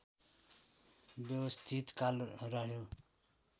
व्यवस्थित काल रह्यो